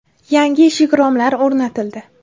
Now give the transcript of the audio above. Yangi eshik-romlar o‘rnatildi.